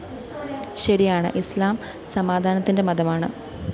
ശരിയാണ് ഇസ്ലാം സമധാനത്തിന്റെ മതമാണ്